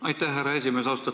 Aitäh, härra esimees!